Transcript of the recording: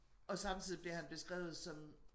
Og samtidig bliver han beskrevet som